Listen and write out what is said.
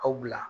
Aw bila